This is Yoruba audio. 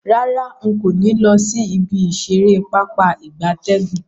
Rara, nko ni lo si ibi isere Pápá ìgbatẹ́gùn.